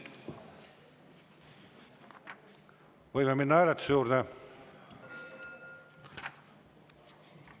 Võime minna hääletuse juurde?